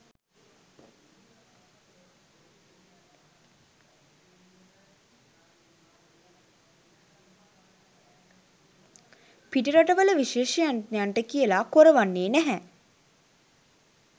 පිටරටවල විශේෂඥයන්ට කියල කොරවන්නේ නැහැ.